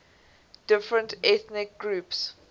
different ethnic groups